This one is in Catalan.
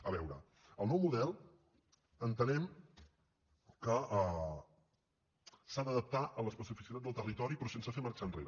a veure el nou model entenem que s’ha d’adaptar a l’especificitat del territori però sense fer marxar enrere